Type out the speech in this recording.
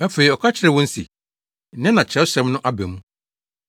Afei ɔka kyerɛɛ wɔn se, “Nnɛ na Kyerɛwsɛm no aba mu.”